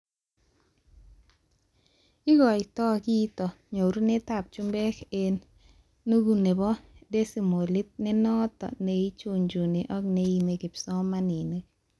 Ikotoi kitoo nyorunetab chumbeek eng nukuu nebo desimolit nenoto neichunchuni ak neiimi kipsomanink